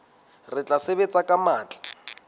re tla sebetsa ka matla